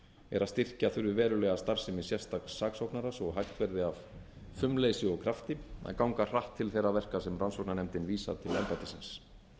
er að styrkja þurfi verulega starfsemi sérstaks saksóknara svo hægt verði af fumleysi og krafti að ganga hratt til þeirra verka sem rannsóknarnefndin vísar til embættisins